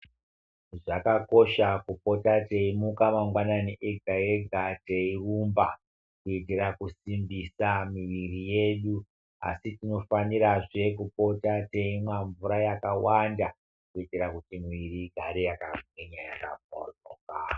Zvakakosha kupota teyi muka mangwanani ega ega tei rumba kuitira kusimbisa miviri yedu asi tinofanira zve kupota teimwa mvura yakawanda kuitira kuti mwiri igare yaka gwinya yaka bhohloka.